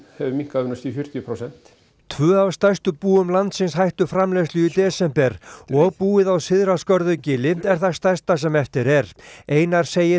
hefur minnkað um næstum fjörutíu prósent tvö af stærstu búum landsins hættu framleiðslu í desember og búið á Syðra Skörðugili er það stærsta sem eftir er einar segir